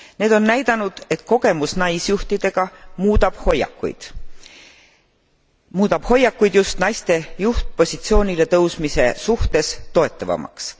Need on näidanud, et kogemus naisjuhtidega muudab hoiakuid just naiste juhtpositsioonile tõusmise suhtes toetavamaks.